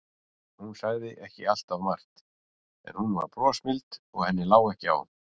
Hún sagði ekki alltaf margt, en hún var brosmild og henni lá ekki á.